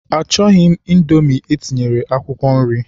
Achọghị m Indomi etinyere akwụkwọ nri.